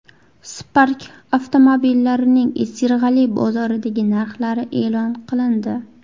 Spark avtomobillarining Sirg‘ali bozoridagi narxlari e’lon qilindi.